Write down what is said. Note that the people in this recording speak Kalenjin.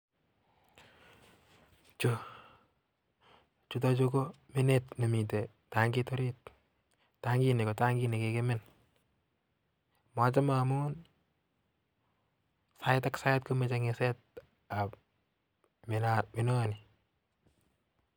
Chutok kominet nemitei tangiit orit machame amun sai ak.sait komeche kengis